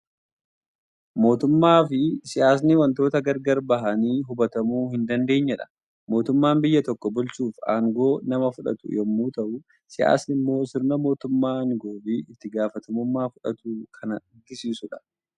Mootummaa fi siyyaasni waantota gargar bahanii hubatamuu hin dandeenyedha. Mootummaan biyya tokko bulchuuf aangoo nama fudhatu yommuu ta'u, siyyaasni immoo sirna mootummaan aangoo fi itti gaafatamummaa fudhatu kan agarsiisu dha.